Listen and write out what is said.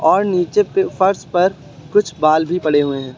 और नीचे पे फर्श पर कुछ बाल भी पड़े हुए हैं।